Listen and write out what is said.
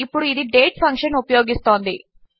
ఇప్పుడు ఇది date function ఉపయోగిస్తోంది